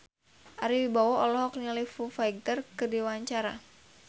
Ari Wibowo olohok ningali Foo Fighter keur diwawancara